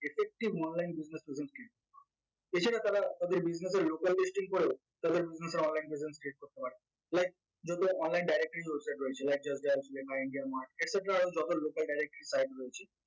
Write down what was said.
effective online business এছাড়া তারা তাদের business এর local করেও তাদের online presence create করতে পারে like যেহেতু online যত local site রয়েছে